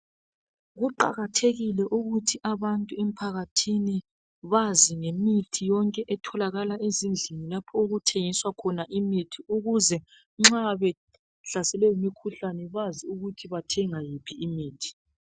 Kuqakathekile ukuthi abantu emphakathini bazi ngemithi yonke etholakala ezindlini lapho okuthengiswa khona imithi ukuze nxa behlaselwe yimikhuhlane bazi ukuthi bathenga iphi imithi.